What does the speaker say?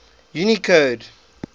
unicode